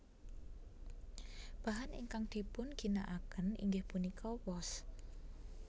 Bahan ingkang dipunginakaken inggih punika wos